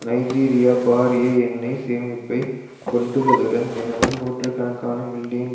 நைஜீரியாபாரிய எண்ணெய் சேமிப்பை கொண்டுள்ளதுடன் தினமும் நூற்று கணக்கான மில்லியன்